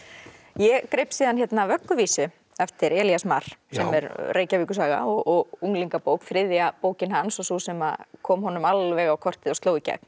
ég greip síðan vögguvísu eftir Elías Mar sem er Reykjavíkursaga og unglingabók þriðja bókin hans og sú sem kom honum alveg á kortið og sló í gegn